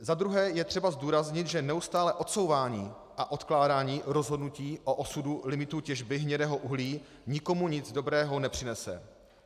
Za druhé je třeba zdůraznit, že neustálé odsouvání a odkládání rozhodnutí o osudu limitů těžby hnědého uhlí nikomu nic dobrého nepřinese.